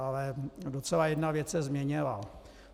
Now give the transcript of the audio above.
Ale docela jedna věc se změnila.